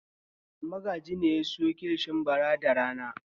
Magaji ne ya sayo kilishi bara da rana.